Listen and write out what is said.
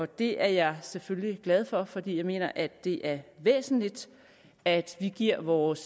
det er jeg selvfølgelig glad for fordi jeg mener at det er væsentligt at vi giver vores